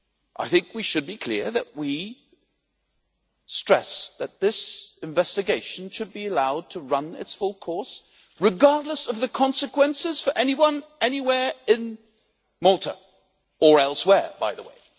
I think we should be clear that we stress that this investigation should be allowed to run its full course, regardless of the consequences for anyone anywhere in Malta, or elsewhere by the way.